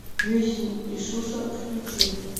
жизнь иисуса включи